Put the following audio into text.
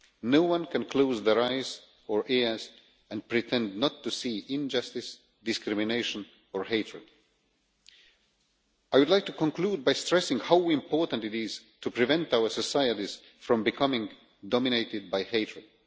No one can close their eyes or ears and pretend not to see injustice, discrimination or hatred. I would like to conclude by stressing how important it is to prevent our societies from becoming dominated by hatred.